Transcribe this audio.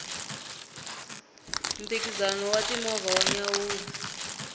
mphikizano wa ti movha wa nyanyula